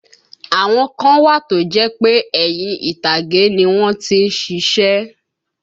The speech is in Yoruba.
Àwọn kan wà tó jẹ́ pé ẹ̀yìn ìtàgé ni wọ́n tí ń ṣiṣẹ́